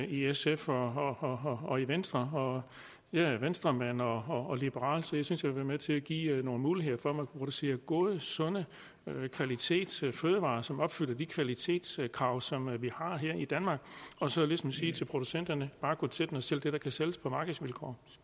i sf og og i venstre jeg er venstremand og liberal så jeg synes jeg vil være med til at give nogle muligheder for at man kan producere gode sunde kvalitetsfødevarer som opfylder de kvalitetskrav som vi har her i danmark og så ligesom sige til producenterne bare gå til den og sælg det der kan sælges på markedsvilkår